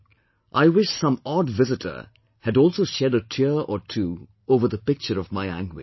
' I wish some odd visitor had also shed a tear or two over the picture of my anguish